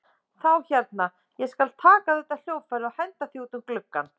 Þá hérna. þá skal ég taka þetta hljóðfæri og henda því út um gluggann!